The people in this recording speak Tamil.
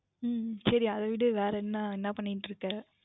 உம் உம் சரி அது விடுங்கள் வேர் என்ன என்ன பண்ணிக்கொண்டு இருக்கீர்கள்